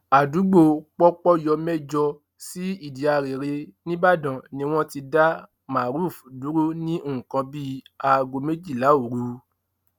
àdúgbò pọpọyọmẹjọ sí ìdíarere nìbàdàn ni wọn ti dá maruf dúró ní nǹkan bíi aago méjìlá òru